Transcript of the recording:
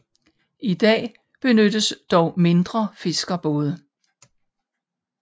I dag benyttes dog mindre fiskerbåde